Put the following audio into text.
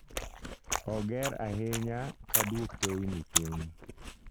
Oger ahinya ka duok teyni piny